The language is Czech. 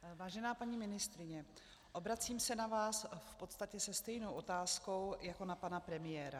Vážená paní ministryně, obracím se na vás v podstatě se stejnou otázkou jako na pana premiéra.